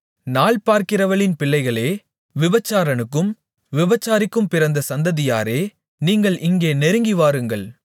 நாள் பார்க்கிறவளின் பிள்ளைகளே விபசாரனுக்கும் விபச்சாரிக்கும் பிறந்த சந்ததியாரே நீங்கள் இங்கே நெருங்கிவாருங்கள்